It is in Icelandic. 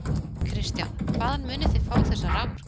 Kristján: Hvaðan munið þið fá þessa raforku?